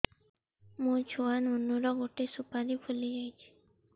ମୋ ଛୁଆ ନୁନୁ ର ଗଟେ ସୁପାରୀ ଫୁଲି ଯାଇଛି